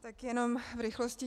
Tak jenom v rychlosti.